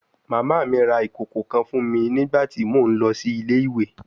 Mama mi ra ikoko kan fun mi nigbati o nlọ si ile-iwe